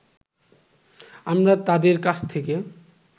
আমরা তাদের কাছ থেকে